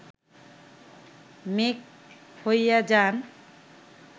মেঘ হইয়া যান